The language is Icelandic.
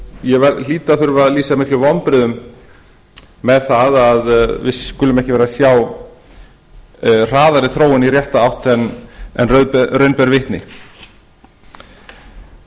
ég hlýt að þurfa að lýsa miklum vonbrigðum með að við skulum ekki vera að sjá hraðari þróun í rétta átt en raun ber vitni það